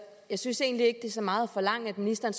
jeg synes egentlig ikke er så meget at forlange at ministeren